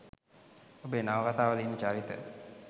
ඔබේ නවකතා වල ඉන්න චරිත